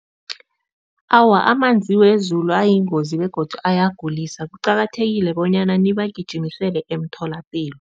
Awa, amanzi wezulu ayingozi begodu ayagulisa, kuqakathekile bonyana nibagijimisele emtholapilo.